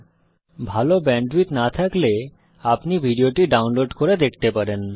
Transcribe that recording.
যদি ভাল ব্যান্ডউইডথ না থাকে তাহলে আপনি ভিডিওটি ডাউনলোড করে দেখতে পারেন